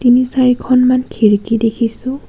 তিনি চাৰি খনমান খিৰিকী দেখিছোঁ.